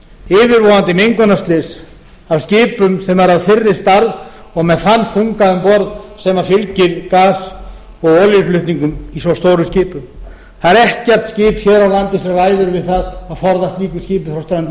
yfirvofandi mengunarslys af skipum sem eru af þeirri stærð og með þann þunga um borð sem fylgir gas og olíuflutningum í svo stórum skipum það er ekkert skip hér á landi sem ræður við að forða slíku skipi frá strönd